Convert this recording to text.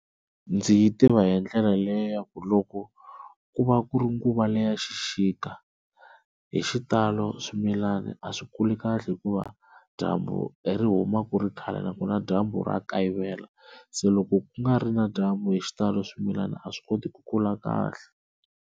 Ndzi yi tiva hi ndlela leyo ku loko ku va ku ri nguva leya xixika hi xitalo swimilani a swi kuli kahle hikuva dyambu ri huma ku ri khale nakona dyambu ra kayivela se loko ku nga ri na dyambu hi xitalo swimilana a swi koti ku kula kahle.